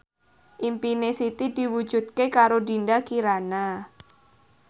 impine Siti diwujudke karo Dinda Kirana